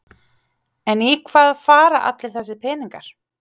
En í hvað fara allir þessir peningar?